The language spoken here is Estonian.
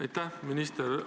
Aitäh!